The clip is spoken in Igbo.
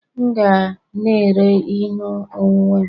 M ga na-ere ihe onwunwe m